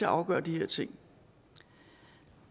at afgøre de her ting